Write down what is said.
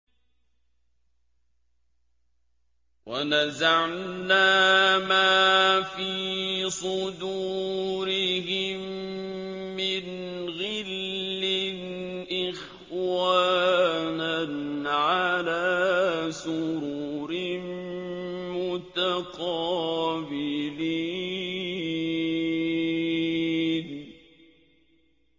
وَنَزَعْنَا مَا فِي صُدُورِهِم مِّنْ غِلٍّ إِخْوَانًا عَلَىٰ سُرُرٍ مُّتَقَابِلِينَ